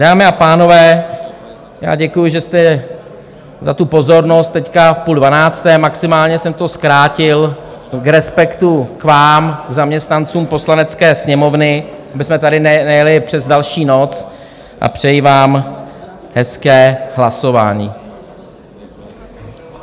Dámy a pánové, já děkuju, že jste - za tu pozornost teď v půl dvanácté, maximálně jsem to zkrátil v respektu k vám, k zaměstnancům Poslanecké sněmovny, abychom tady nejeli přes další noc, a přeji vám hezké hlasování.